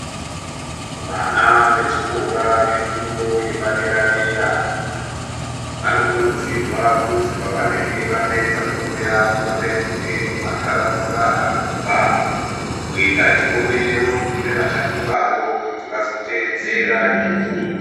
Vana vechikora vefundo yepadera dera vanokurudzirwa kuzi pavanenge vapedza fundo yavo vapetukee kumantaraunda avanobva kuita chionero kune vachakuravo kuti vazoteedzera izvozvo.